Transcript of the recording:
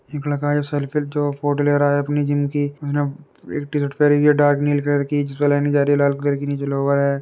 एक लड़का है। सेल्फी जो फोटो ले रहा है अपनी जिम की। उसने एक टीशर्ट पहनी है डार्क नील कलर की। जिसमें लाइनिंग जा रही है लाल कलर की नीचे लोअर है।